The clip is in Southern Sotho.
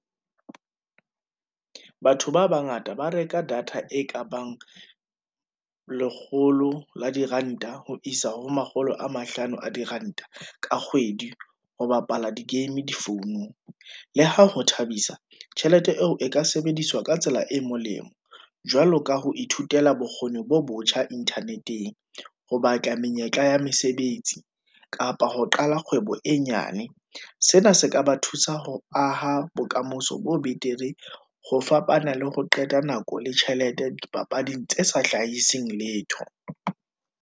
Batho ba bangata ba reka data e kabang lekgolo la diranta ho isa ho makgolo a mahlano a diranta ka kgwedi, ho bapala di-game difounung. Le ha ho thabisa, tjhelete eo e ka sebediswa ka tsela e molemo, jwalo ka ho ithutela bokgoni bo botjha internet-eng, ho batla menyetla ya mesebets, i kapa ho qala kgwebo e nyane. Sena se ka ba thusa ho aha bokamoso bo betere, ho fapana le ho qeta nako le tjhelete dipapading tse sa hlahiseng letho.